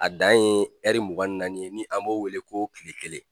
A dan ye mugan naani ye ni an b'o wele ko kile kelen